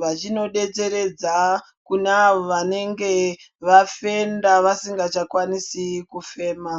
vachino detseredza kune avo vanenge vafenda ,vasinga chakwanisi kufema.